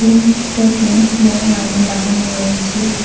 মুকটাতে বড় আয়না লাগানো রয়েছে।